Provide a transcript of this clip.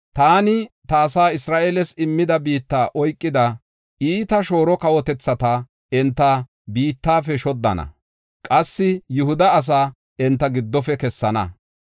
“Taani ta asaa, Isra7eeles, immida biitta oykida, iita shooro kawotethata enta biittafe shoddana. Qassi Yihuda asaa enta giddofe kessana.